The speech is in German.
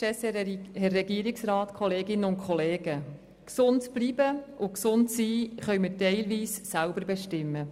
Gesund zu bleiben und gesund zu sein können wir teilweise selber bestimmen.